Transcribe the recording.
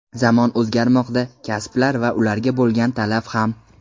Zamon o‘zgarmoqda, kasblar va ularga bo‘lgan talab ham.